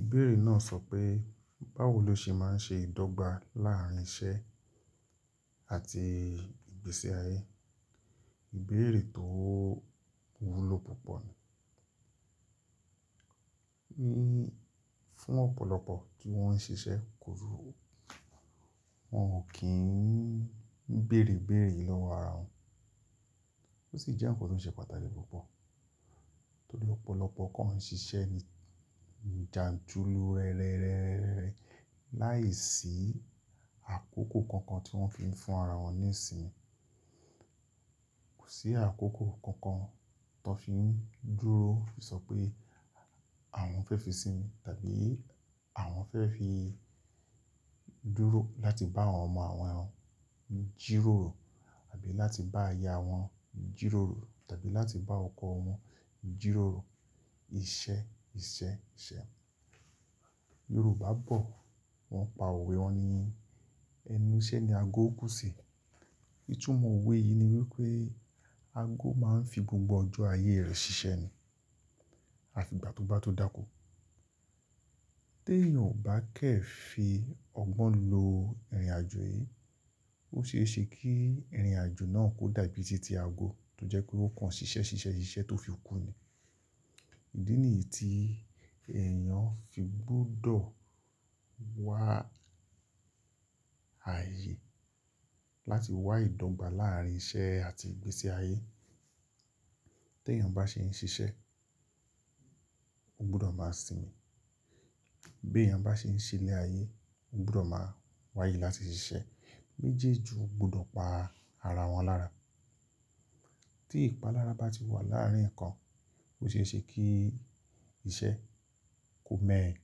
Ìbéèrè náà sọ pé, báwo ló ṣe máa ń ṣe ìdọ́gba láàrín iṣẹ́ àti ìgbésí ayé? Ìbéèrè tó wúlo púpọ̀ ni. Ní fún ọ̀pọ̀lọpọ̀ tí wọ́n ń ṣiṣẹ́ kúrú, wọ́n ò kíń bérè ibéèrè lọ́wọ́ ara wọn. Ó sì jẹ́ nǹkan tó ń ṣe pàtàkì púpọ̀. Torí ọ̀pọ̀lọpọ̀ kan ń ṣiṣẹ́ ní jàǹtùlù rẹ́rẹ́rẹ́ láìsí àkókò kankan tí wọ́n fiń fún ara wọn ní ìsinmi. Kò sí àkókò kankan tó n fiń dúró sọ pé àwọn fẹ́ fi sinmi, tàbí àwọn fẹ́ fi dúró láti bá àwọn ọmọ àwọn jíròrò, àbí láti bá aya wọn jíròrò, tàbí láti bá ọkọ wọn jíròrò. Ìṣe, ìṣe, ìṣe. Yorùbá bọ̀ wọ́n pa òwe wọn ní, "Ẹnu iṣẹ́ ni ago kú sí." Ìtumọ̀ òwe yìí ni wípé ago máa ń fi gbogbo ọjọ́ ayé rẹ̀ ṣiṣẹ́ ni, à fi igbà tó bá tó dákó. Tí èèyàn ò bá kẹ́ fi ọgbọ́n lo ìrìnàjò yìí, ó ṣe é ṣe kí ìrìnàjò náà kó dàbí iṣẹ́ ti ago, tó jẹ́ pé ó kàn ṣiṣẹ́, ṣiṣẹ́, ṣiṣẹ́ tó fi kú ni. Idí nìyí tí èèyàn fi gbọ́dọ̀ wá ayé láti wá ìdọ́gba láàrín iṣẹ́ àti ìgbésí ayé. Tí èèyàn bá ṣe ń ṣiṣẹ́, ó gbọ́dọ̀ máa sinmi. Bí èèyàn bá ṣe ń ṣe ile ayé, ó gbọ́dọ̀ máa wá ayé láti ṣiṣẹ́. Méjèèjì ó gbọ́dọ̀ pa ara wọn lára. Tí ìpalára bá ti wà láàrín ǹkan, ó ṣe é ṣe kí iṣẹ́ kó me ẹ́,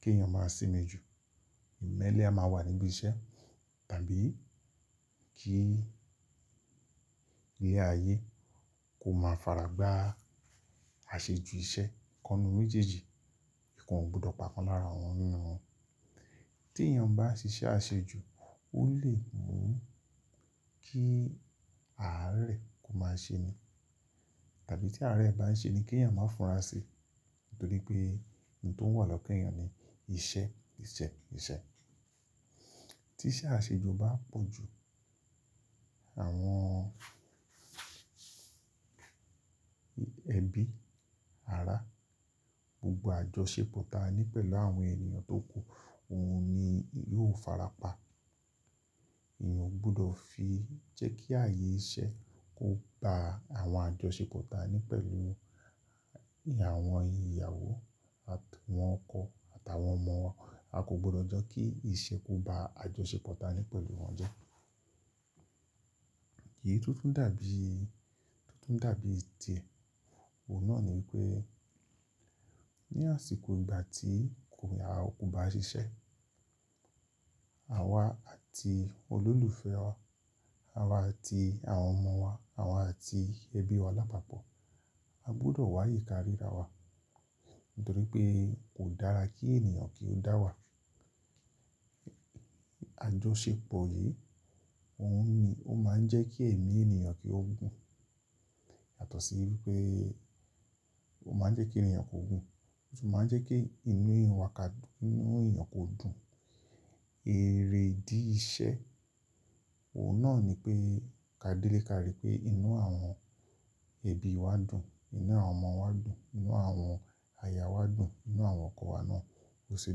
kí èèyàn máa sinmi jù. Ìmẹ́lẹ́ a máa wà níbí iṣẹ́, tàbí kí ilé ayé kó máa fara gbá àṣejù iṣẹ́. Ìkanu méjèèjì, ikan ò gbudọ̀ pa kan lára wọn nínú wọn. Tí èèyàn bá ṣiṣẹ́ àṣejù, ó lè mú kí àárẹ̀ kó máa se eyan. Tàbí tí àárẹ̀ bá ń ṣe ni, ki eyan má fúnra síi. Nítorí pé oun tó wà lọ́kàn èyàn ni iṣẹ́, iṣẹ́, iṣẹ́. Tí iṣẹ́ àṣejù bá pọ̀ jù, àwọn ẹbí, ará, gbogbo àjọ ṣépò ta ni pẹ̀lú àwọn èèyàn tó kú, òun ni yóò fara pa. Èèyàn ó gbudọ̀ fi jẹ́ kí ààyè iṣẹ́ kó ba àwọn àjọ ṣépò ta ni pẹ̀lú àwọn ìyàwó àti àwọn ọkọ àtàwọn ọmọ wa. A kò gbọ́dọ̀ jẹ́ kí iṣẹ́ kó ba àjọ ṣépò ta ni pẹ̀lọ̀ wọ́n jẹ́. Èyí to tun dàbí, to tun dàbí tie. Òun náà ni wípé ní àsìkò ìgbà tí ko ya, o kò bá ṣiṣẹ́, àwa àti olólùfẹ́ wa, àwa àti àwọn ọmọ wa, àwa àti ẹbí wa lápapọ̀. A gbudọ̀ wàáyé ká ríra wa. Nítorí pé kò dára kí ènìyàn kí ó dá wà. Àjọ ṣépò yìí, òun ni ó máa ń jẹ́ kí ẹ̀mí ènìyàn kí ó gùn. Yàtọ̀ sí wípé ó máa ń jẹ́ kí irin eyan kú, ó sì máa ń jẹ́ kí inú èèyàn wa kádùn, inú èèyàn kó dùn. Erè idí ìṣe òun náà ni pé ká délé ká rí pé inú àwọn ẹbí wa dùn, inú àwọn ọmọ wa dùn, inú àwọn aya wa dùn, inú àwọn ọkọ wa náà ó ṣe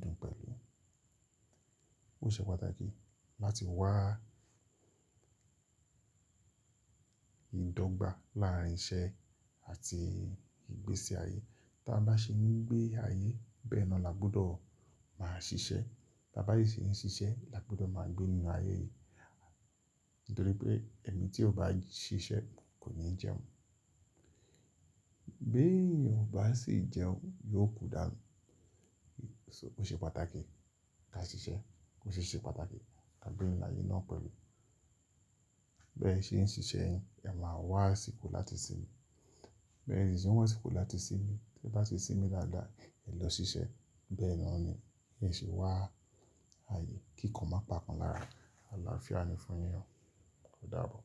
dùn pẹ̀lú. Ó ṣe pàtàkì láti wá ìdọ́gba láàrín iṣẹ́ àti ìgbésí ayé. Ta bá n ṣe ń gbé ayé, bẹ́ẹ̀ naa la gbudọ̀ máa ṣiṣẹ́. Bá ba si ṣe ń ṣiṣẹ́, la gbudọ̀ máa gbé nínú ayé yìí. Nítorí pé ení tí ò bá ṣiṣẹ́ kò ní jẹun. Bí èèyàn o bá sì jẹun, yóò kú dàń. So ó ṣe pàtàkì ká ṣiṣẹ́, ó ṣi ṣe pàtàkì ká gbé nínú ayé náà pẹ̀lú. Bẹ́ẹ̀ ṣe ń ṣiṣẹ́ yin, ẹ máa wá àsìkò láti sinmi. Bẹ́ẹ̀ sì ń se wà àsìkò láti sinmi. Tẹ bá ṣi sinmi dáadáa, ẹ lọ ṣiṣẹ́. Bẹ́ẹ̀ náà ni, be ṣe wá ààyè kí ǹkan má pa kan lára. Àlàáfíà ni fún yin o, ó dábọ̀.